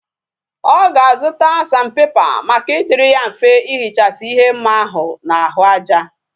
Oga azuta sandpaper Maka idiri ya mfe ihichasi ihe mma ahu na ahu aja